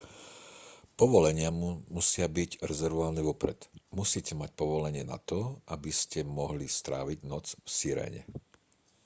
povolenia musia byť rezervované vopred musíte mať povolenie na to aby ste mohli stráviť noc v sirene